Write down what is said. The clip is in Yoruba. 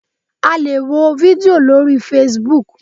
A lè wo fídíò lórí Facebook.